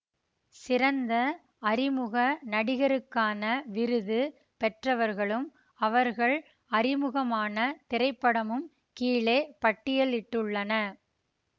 சிறந்த அறிமுக நடிகருக்கான விருது பெற்றவர்களும் அவர்கள் அறிமுகமான திரைப்படமும் கீழே பட்டியலிட்டுள்ளன